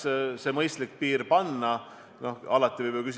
Minu arust see on küllaltki suur arv ja see võib hakata haiguse levikut mõjutama.